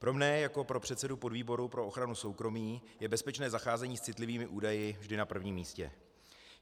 Pro mne jako pro předsedu podvýboru pro ochranu soukromí je bezpečné zacházení s citlivými údaji vždy na prvním místě.